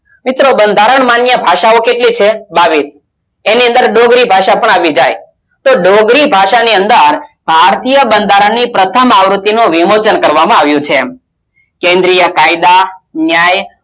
મિત્રો બંધારણ માન્ય ભાષાઓ કેટલી છે બાવીસ એની અંદર ડોંગરી ભાષા પણ આવી જાય તો ડોંગરી ભાષાની અંદર ભારતીય બંધારણની પ્રથમ આવૃત્તિ નો વિમોચન કરવામાં આવ્યું છે કેન્દ્રીય કાયદા ન્યાયsw